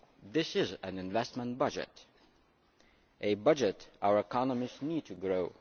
This is an investment budget a budget our economies need to grow.